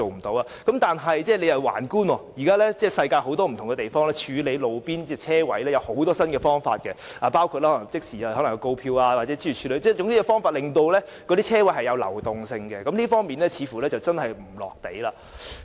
但是，我們環觀世界各地，處理路邊泊車位有很多新方法，包括即時發出告票，諸如此類，總之是有方法令泊車位流轉，這方面政府似乎並不"落地"。